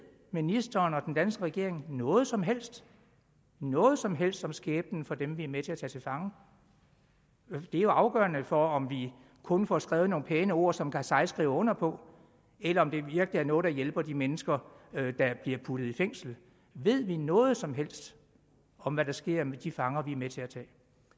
ministeren og den danske regering noget som helst noget som helst om skæbnen for dem vi er med til at tage til fange det er jo afgørende for om vi kun får skrevet nogle pæne ord som karzai skriver under på eller om det virkelig er noget der hjælper de mennesker der bliver puttet i fængsel ved vi noget som helst om hvad der sker med de fanger vi er med til at tage